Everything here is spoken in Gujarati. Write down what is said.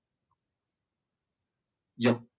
જો